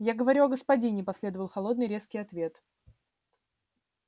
я говорю о господине последовал холодный резкий ответ